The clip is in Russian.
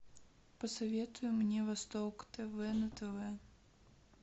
посоветуй мне восток тв на тв